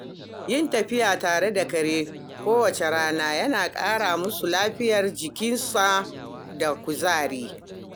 Yin tafiya tare da kare kowace rana yana kara masa lafiyar jikinsa da kuzari.